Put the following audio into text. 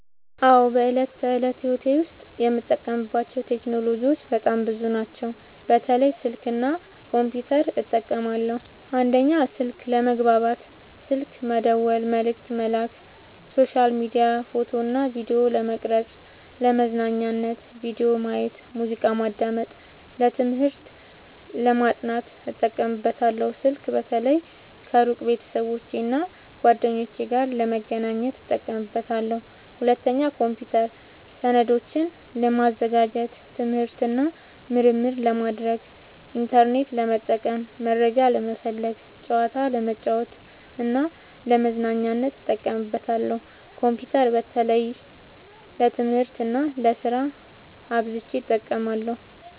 አዎ፣ በዕለት ተዕለት ሕይወቴ ዉስጥ የምጠቀምባቸው ቴክኖሎጂዎች በጣም ብዙ ናቸው፣ በተለይ ስልክ እና ኮምፒውተር እጠቀማለሁ። 1. ስልክ፦ ለመግባባት (ስልክ መደወል፣ መልዕክት መላክ)፣ሶሻል ሚዲያ፣ ፎቶ እና ቪዲዮ ለመቅረጵ፣ ፣ለመዝናኛነት(ቪዲዮ ማየት፣ ሙዚቃ ማዳመጥ)፣ ለትምህርት(ለማጥናት) እጠቀምበታለሁ። ስልክ በተለይ ከሩቅ ቤተሰቦቼና እና ጓደኞቼ ጋር ለመገናኘት እጠቀምበታለሁ። 2. ኮምፒውተር፦ ሰነዶችን ለማዘጋጀት፣ ትምህርት እና ምርምር ለማድረግ፣ ኢንተርኔት ለመጠቀም (መረጃ ለመፈለግ)፣ ጨዋታ ለመጫወት እና ለመዝናኛነት እጠቀምበታለሁ። ኮምፒውተር በተለይ ለትምህርት እና ለስራ አብዝቸ እጠቀማለሁ።